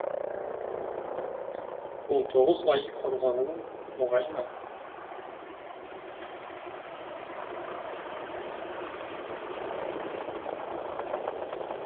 он тоғыз ай қорғану оңай ма